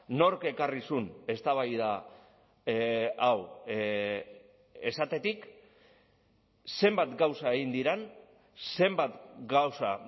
nork ekarri zuen eztabaida hau esatetik zenbat gauza egin diren zenbat gauza